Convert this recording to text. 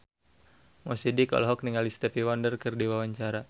Mo Sidik olohok ningali Stevie Wonder keur diwawancara